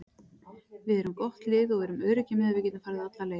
Við erum gott lið og við erum öruggir með að við getum farið alla leið.